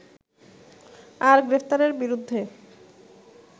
আর গ্রেপ্তারের বিরুদ্ধে